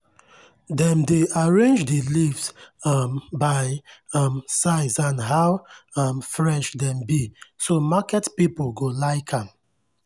dem dey arrange the leaves um by um size and how um fresh dem be so market people go like am.